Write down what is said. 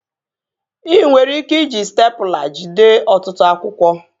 Ị nwere ike iji stepụla jide ọtụtụ akwụkwọ